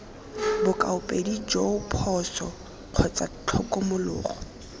bokaopedi joo phoso kgotsa tlhokomologo